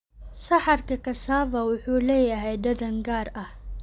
Saxarka Cassava wuxuu leeyahay dhadhan gaar ah.